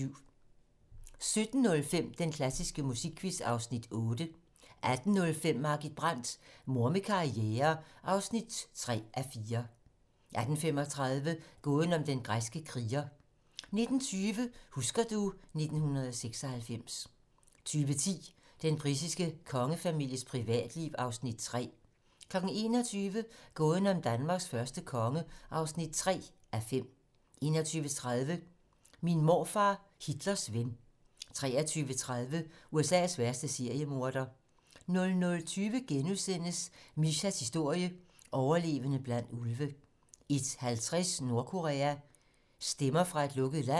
17:05: Den klassiske musikquiz (Afs. 8) 18:05: Margit Brandt - Mor med karriere (3:4) 18:35: Gåden om den græske kriger 19:20: Husker du ... 1996 20:10: Den britiske kongefamilies privatliv (Afs. 3) 21:00: Gåden om Danmarks første konge (3:5) 21:30: Min morfar, Hitlers ven 23:30: USA's værste seriemorder 00:20: Mishas historie: Overlevede blandt ulve * 01:50: Nordkorea - stemmer fra et lukket land